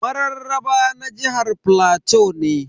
Mararraba na jihar plateau ne.